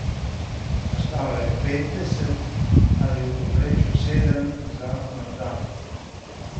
Ostalo jih je petdeset, ali v povprečju sedem za na dan.